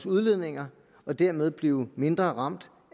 udledninger og dermed blive mindre ramt